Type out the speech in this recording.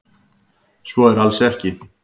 Svo sé alls ekki